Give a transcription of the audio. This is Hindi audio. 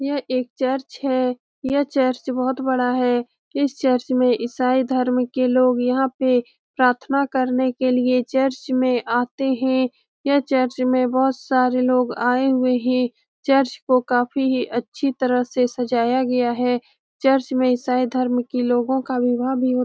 यह एक चर्च है यह चर्च बहुत बड़ा है इस चर्च में इसाई धर्म के लोग यहाँ पे प्रार्थना करने के लिए चर्च में आते हैं यह चर्च में बहुत सारे लोग आए हुए हैं चर्च को काफी अच्छी तरह से सजाया गया है चर्च में इसाई धर्म के लोगो का विवाह भी हो --